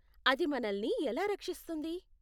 అది మనల్ని ఎలా రక్షిస్తుంది?